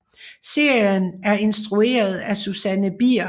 Serien er instrueret af Susanne Bier